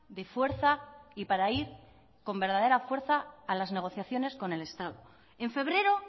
de fuerza y para ir con verdadera fuerza a las negociaciones con el estado en febrero